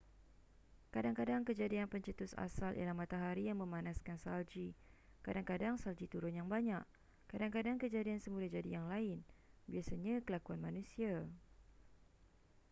kadang-kadang kejadian pencetus asal ialah matahari yang memanaskan salji kadang-kadang salji turun yang banyak kadang-kadang kejadian semula jadi yang lain biasanya kelakuan manusia